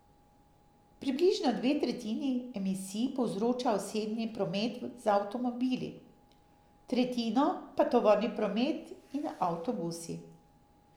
Približno dve tretjini emisij povzroča osebni promet z avtomobili, tretjino pa tovorni promet in avtobusi.